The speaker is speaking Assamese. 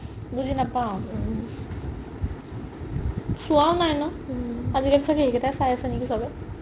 বুজি নাপাও চোৱাও নাই ন আজিকালি চাগে এইকেইটাই চাই আছে নেকি চবে